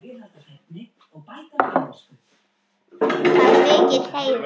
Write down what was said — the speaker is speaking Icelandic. Það er mikill heiður.